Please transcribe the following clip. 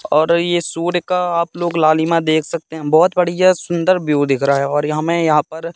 और ये सूर्य का आप लोग लालिमा देख सकते हैं बहोत बढ़िया सुंदर व्यू दिख रहा है और यहां मैं यहां पर--